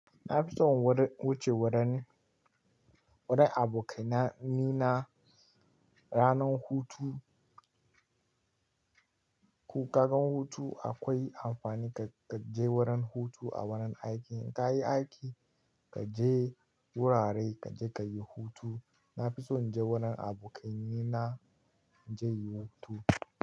Na fi son wuce wurin, wurin abokanai na ranar hutu. Ko ka gan hutu akwai amfani ka je wurin hutu a wurin aiki. In ka yi aiki, ka je wurare, ka je ka yi hutu. Na fi so in je wurin abokanai na, in je in yi hutu.